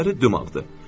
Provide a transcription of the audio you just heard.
Dişləri dumağdır.